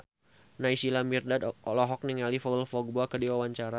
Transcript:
Naysila Mirdad olohok ningali Paul Dogba keur diwawancara